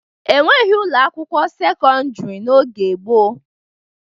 E nweghi ụlọ akwụkwọ sekọndịrị n'oge gboo